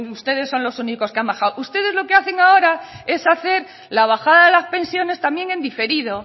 ustedes son los únicos que han bajado ustedes lo que hacen ahora es hacer la bajada de las pensiones también en diferido